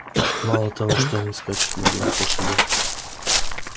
мало того что они скачут на бешеных лошадях